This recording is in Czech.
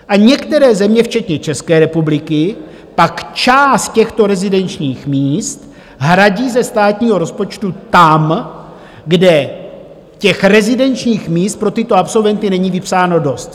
A některé země včetně České republiky pak část těchto rezidenčních míst hradí ze státního rozpočtu tam, kde těch rezidenčních míst pro tyto absolventy není vypsáno dost.